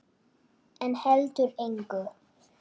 En heldur engu.